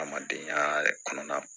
Hadamadenya kɔnɔna